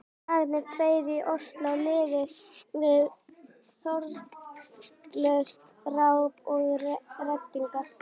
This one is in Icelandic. Dagarnir tveir í Osló liðu við þrotlaust ráp og reddingar.